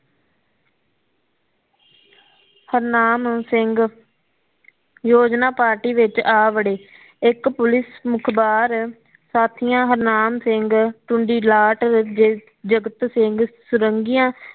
ਹਰਨਾਮ ਸਿੰਘ ਯੋਜਨਾ ਪਾਟਰੀ ਵਿਚ ਆ ਵੜੇ ਇਕ ਪੁਲਿਸ ਮੁਖਬਾਰ ਸਾਥਿਆਂ ਹਰਨਾਮ ਸਿੰਘ ਜਗਤ ਸਿੰਘ ਸੁਰੰਗੀਆਂ